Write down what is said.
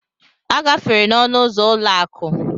A gafere n'ọnụ ụzọ ụlọ akụ.